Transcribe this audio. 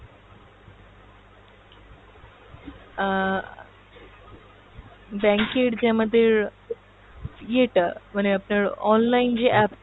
আহ bank এর যে আমাদের ইয়ে টা মানে আপনার online যে app টা